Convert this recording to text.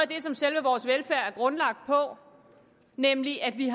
det som selve vores velfærd er grundlagt på nemlig at vi